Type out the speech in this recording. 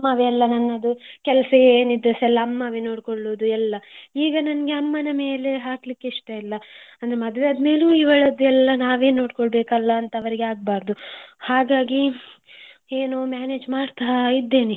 ಅಮ್ಮವೇ ನನ್ನದು ಎಲ್ಲದು ಕೆಲಸ ಏನಿದ್ರೆಸ ಅಮ್ಮವೆ ನೋಡಿಕೊಳ್ಳುದು ಎಲ್ಲಾ ಈಗ ನನಗೆ ಅಮ್ಮನ ಮೇಲೆ ಹಾಕ್ಲಿಕ್ಕೆ ಇಷ್ಟ ಇಲ್ಲ ಅಂದ್ರೆ ಮದುವೆ ಆದ್ಮೇಲೂ ಇವಳದ್ದು ಎಲ್ಲಾನಾವೇ ನೋಡ್ಕೊಳ್ಬೇಕು ಅಂತ ಎಲ್ಲ ಅವರಿಗೆ ಆಗ್ಬಾರದು. ಹಾಗಾಗಿ ಏನೋ manage ಮಾಡ್ತಾ ಇದ್ದೇನೆ.